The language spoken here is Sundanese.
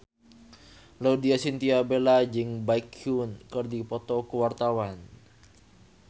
Laudya Chintya Bella jeung Baekhyun keur dipoto ku wartawan